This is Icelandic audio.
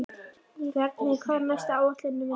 Bjarnhéðinn, hvað er á áætluninni minni í dag?